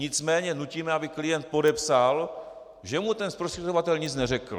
Nicméně nutíme, aby klient podepsal, že mu ten zprostředkovatel nic neřekl.